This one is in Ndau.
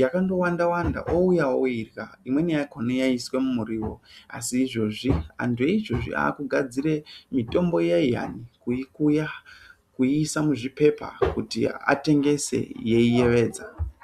yandowanda-wanda ouya oirya. Imweni yakona yaiiswa mumurivo asi izvozvi antu eizvozvi akugare mitombo iyaiyani kuikuya kuiisa muzvipepa kuti atengese yeiyevedza.